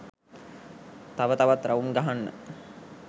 තව තවත් රවුම් ගහන්න